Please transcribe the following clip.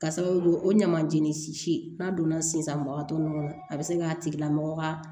K'a sababu kɛ o ɲamanjeni si si n'a donna sisan nɔ a bɛ se k'a tigi lamɔgɔ ka